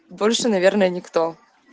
больше наверное никто